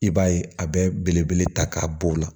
I b'a ye a bɛ belebele ta k'a b'o la